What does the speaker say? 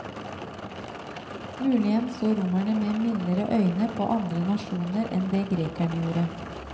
Muligens så romerne med mildere øyne på andre nasjoner enn det grekerne gjorde.